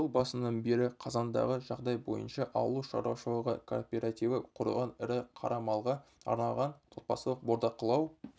жыл басынан бері қазандағы жағдай бойынша ауыл шаруашылығы кооперативі құрылған ірі қара малға арналған отбасылық бордақылау